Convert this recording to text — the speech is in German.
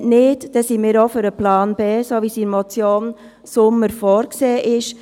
Wenn nicht, so sind wir für den Plan B, so wie sie in der Motion Sommer vorgesehen ist.